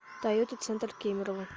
тойота центр кемерово